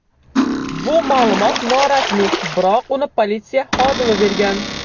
Bu ma’lumot norasmiy, biroq uni politsiya xodimi bergan.